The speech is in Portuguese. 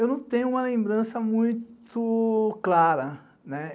Eu não tenho uma lembrança muito clara, né?